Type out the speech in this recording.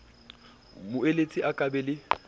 moeletsi a ka ba le